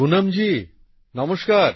পুনমজি নমস্কার